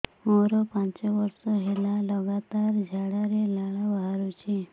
ମୋରୋ ପାଞ୍ଚ ବର୍ଷ ହେଲା ଲଗାତାର ଝାଡ଼ାରେ ଲାଳ ବାହାରୁଚି